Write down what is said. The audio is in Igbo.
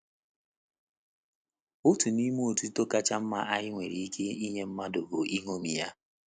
Otu n’ime otuto kacha mma anyị nwere ike inye mmadụ bụ iṅomi ya.